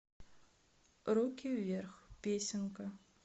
руки вверх песенка